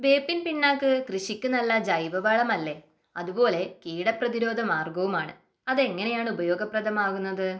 വേപ്പിൻ പിണ്ണാക്ക് കൃഷിക്ക് നല്ല ജൈവവളമല്ലേ അതുപോലെ കീട പ്രതിരോധ മാർഗവുമാണ് അത് എങ്ങനെയാണ് ഉപയോഗപ്രദമാകുന്നത് ?